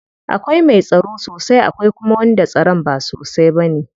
Akwai mai tsaro sosai akwai kuma wanda tsaron ba sosai bane.